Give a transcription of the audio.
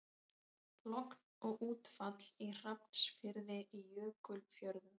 Logn og útfall í Hrafnsfirði í Jökulfjörðum.